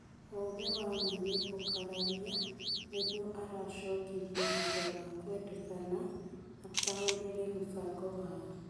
Ũũgĩ wa ma nĩ ũkararia, nĩguo aracokirie thutha wa kwendekana ataũre mũbango wao.